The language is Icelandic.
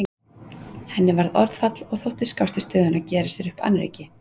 Henni varð orðfall og þótti skást í stöðunni að gera sér upp annríki.